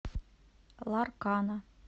ларкана